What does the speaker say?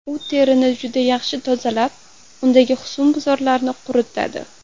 U terini juda yaxshi tozalab, undagi husnbuzarlarni quritadi.